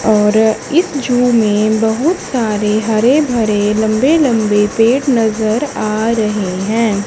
और इस झू में बहुत सारे हरे भरे लंबे लंबे पेड नजर आ रहे हैं।